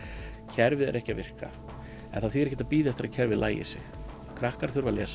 kerfið er ekki að virka en það þýðir ekkert að bíða eftir að kerfið lagi sig krakkar þurfa að lesa